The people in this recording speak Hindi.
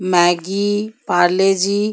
मैगी पारले जी